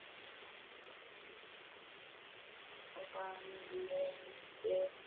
Ég hafði þráð hana lengi.